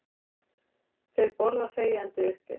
Þeir borða þegjandi uppi.